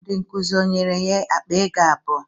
Ndị nkụzi o nyere ya akpa ego abụọ?